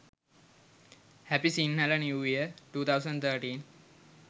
happy sinhala new year 2013